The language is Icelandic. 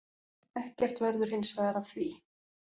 Ekkert verður hinsvegar af því.